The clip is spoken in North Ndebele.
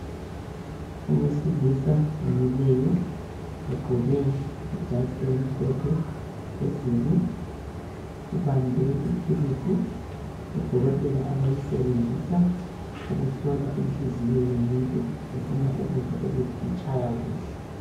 Owesilisa omileyo ugqoke ijazi elimhlophe phezulu. Ubambe ithulusi odokotela abayisebenzisa ukuhlola inhliziyo yomuntu befuna ukuzwa ukuthi itshaya kuhle.